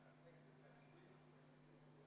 Helle-Moonika Helme, palun!